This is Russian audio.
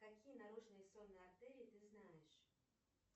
какие наружные сонные артерии ты знаешь